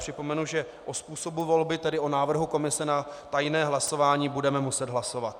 Připomenu, že o způsobu volby, tedy o návrhu komise na tajné hlasování, budeme muset hlasovat.